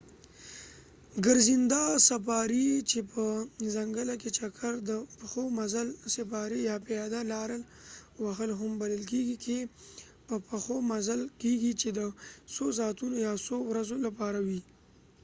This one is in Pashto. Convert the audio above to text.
ګرځنده سفاري چې په ځنګله کې چکر"، د پښو مزل سفاري"، یا پیاده لاره وهل هم بلل کیږي کې په پښو مزل کیږي، چې د څو ساعتونو یا څو ورځو لپاره وي